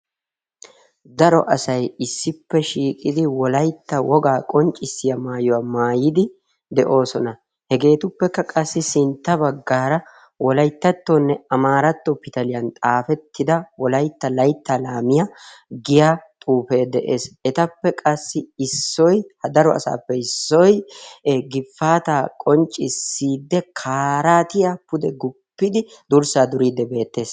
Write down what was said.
daro asay issippe shiiqidi wolaytta wogaa qonccissiya maayuwaa maayidi de'oosona hegeetuppekka qassi sintta baggaara wolayttattoonne amaaratto pitaliyan xaafettida wolaytta laytta laamiya giya xuufee de'ees. etappe qassi issoy ha daro asaappe issoy gifaata qonccissiidde kaaraatiya pude guppidi durssaa duriiddi beettees.